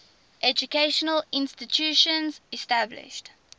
educational institutions established